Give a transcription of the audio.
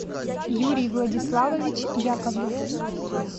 юрий владиславович яковлев